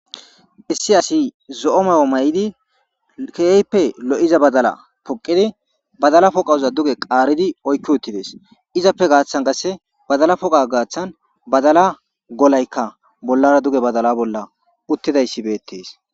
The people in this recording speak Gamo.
issi asi zo7o mayo may7idi keeyppe lo7iza badala poqidi badala poqauza duge qaaridi oykki uttides izappe gaaththan kasse badala poqa gaaththan badala golaykka bollara duge badala bolla uttidayssi beettees